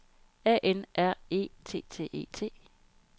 A N R E T T E T